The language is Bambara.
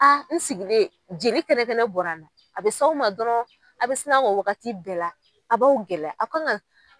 A n sigilen jeli kɛnɛ kɛnɛ bɔra n na a bɛ s'aw ma dɔrɔn a bɛ sinna k'o wagati bɛɛ la a b'aw gɛlɛya a kana